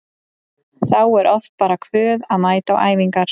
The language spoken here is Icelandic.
Þá er oft bara kvöð að mæta á æfingar.